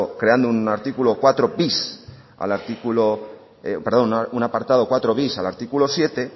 creando un apartado cuatro bis al artículo siete